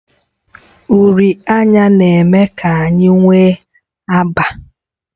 Uri anya na-eme ka anya nwee agba.